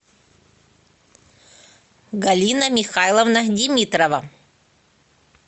галина михайловна димитрова